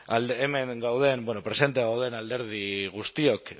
hemen gauden presente gauden alderdi guztiok